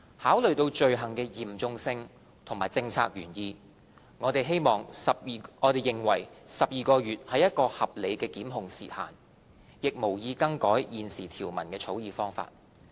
考慮到罪行的嚴重性及政策原意，我們認為12個月是一個合理的檢控時限，亦無意更改現時條文的草擬方法。